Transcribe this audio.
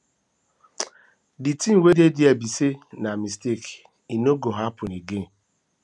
the thing wey dey there be say na mistake e no go happen again